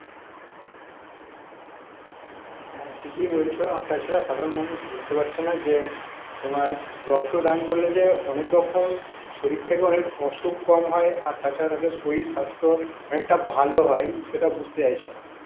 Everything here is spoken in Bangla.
হ্যাঁ ঠিকই বলছ আর তাছাড়া সাধারণ মানুষ বুঝতে পারছে না যে তোমার রক্তদান করলে যে অনেক রকম শরীর থেকে অনেক অসুখ কম হয় আর তাছাড়া তাদের শরীর স্বাস্থ্য অনেকটা ভালো হয় সেটা বুঝতে চাইছে না